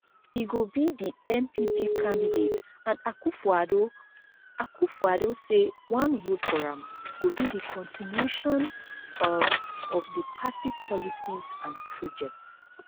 e go be di npp candidate and akufoaddo akufoaddo say one vote for am go be di continuation um of di party policies and projects